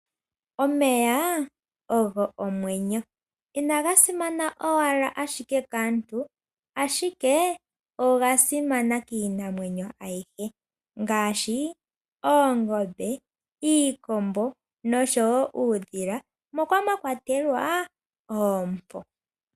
Omeya ogo omwenyo, inaga simana owala ashike kaantu, ashike oga simana kiinamwenyo ayihe ngaashi oongombe, iikombo nosho wo uudhila moka mwakwatelwa oompo.